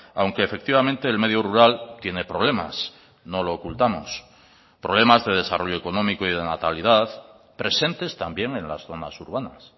aunque efectivamente el medio rural tiene problemas no lo ocultamos problemas de desarrollo económico y de natalidad presentes también en las zonas urbanas